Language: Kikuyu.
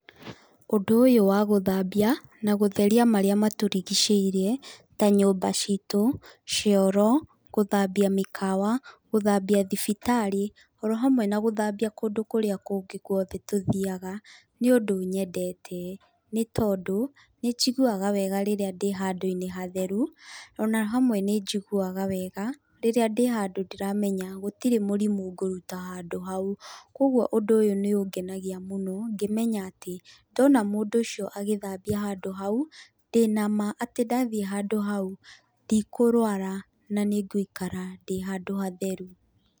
Ũndũ ũyũ wa gũthambia na gũtheria marĩa matũrigicĩirie ta nyũmba citũ, cioro, gũthambia mĩkawa, gũthambia thibitarĩ o hamwe na gũthambia kũndũ kũrĩa kũngĩ guothe tũthiaga, nĩ ũndũ nyendete. Nĩ tondũ, nĩ njiguaga wega rĩrĩa ndĩ handũ-inĩ hatheru ona hamwe nĩ njiguaga wega rĩrĩá ndĩ handũ ndĩramenya gũtirĩ mũrimũ ngũruta handũ hau. Koguo ũndũ ũyũ nĩ ũngenagia mũno ngĩmenya atĩ ndona mũndũ ũcio agĩthambia handũ hau, ndĩ nama atĩ ndathie handũ hau ndikũrũara na nĩngũikara ndĩ handũ hatheru.